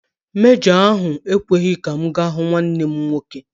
Mejọ ahụ ekweghị ka m ga hụ nwanne m nwoke.